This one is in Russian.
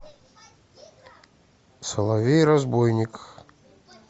соловей разбойник